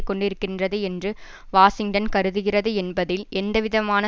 கொண்டிருக்கின்றது என்று வாஷிங்டன் கருதுகிறது என்பதில் எந்தவிதமான